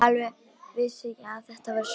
Alveg vissi ég að þetta færi svona!